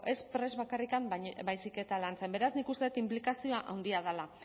ez prest bakarrik baizik eta lantzen beraz nik uste dut inplikazioa handia dela